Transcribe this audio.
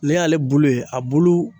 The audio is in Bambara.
Ne y'ale bulu ye, a bulu